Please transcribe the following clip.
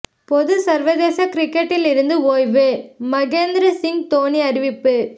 பொது சர்வதேச கிரிக்கெட்டிலிருந்து ஒய்வு மகேந்திர சிங் தோனி அறிவிப்பு